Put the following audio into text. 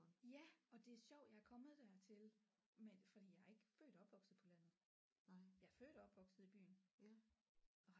Ja og det er sjovt jeg er kommet dertil med det fordi jeg er ikke født og opvokset på landet jeg er født og opvokset i byen